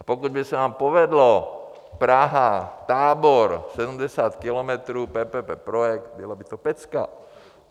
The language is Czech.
A pokud by se vám povedlo Praha-Tábor 70 kilometrů PPP projekt, byla by to pecka!